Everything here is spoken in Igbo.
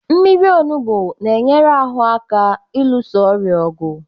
Mmiri onugbu na-enyere ahụ aka ịlụso ọrịa ọgụ.